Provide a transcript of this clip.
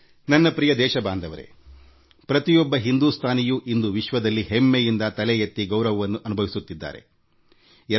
ನನ್ನ ಪ್ರೀತಿಯ ದೇಶವಾಸಿಗಳೇ ಪ್ರತಿಯೊಬ್ಬ ಭಾರತೀಯನೂ ಇಂದು ವಿಶ್ವದಲ್ಲಿ ಹೆಮ್ಮೆಯಿಂದ ತಲೆ ಎತ್ತಿ ಗೌರವದಿಂದ ಬಾಳುತ್ತಿದ್ದಾನೆ